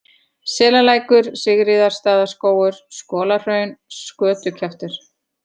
Selalækur, Sigríðarstaðaskógur, Skolahraun, Skötukjaftur